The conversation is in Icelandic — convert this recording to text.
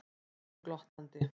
spyr hún glottandi.